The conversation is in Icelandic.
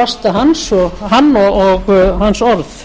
lasta hann og hans orð